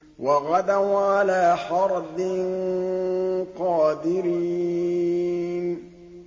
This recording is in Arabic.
وَغَدَوْا عَلَىٰ حَرْدٍ قَادِرِينَ